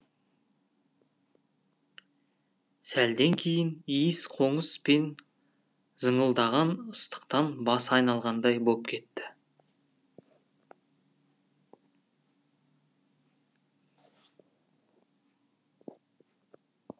сәлден кейін иіс қоңыс пен зыңылдаған ыстықтан басы айналғандай боп кетті